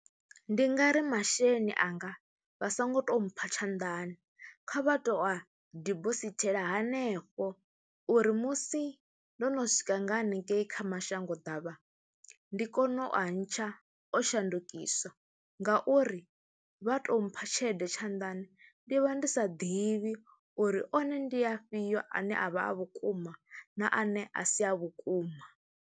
Ndi nga ri masheleni anga vha songo tou mpha tshanḓani kha vha tou a dibosithela hanefho uri musi ndo no swika nga haningei kha mashango ḓavha ndi kone u a ntsha o shandukiswa ngauri vha tou mpha tshelede tshanḓani ndi vha ndi sa ḓivhi uri one ndi afhio ane a vha a vhukuma na ane a si a vhukuma.